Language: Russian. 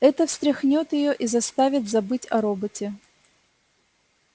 это встряхнёт её и заставит забыть о роботе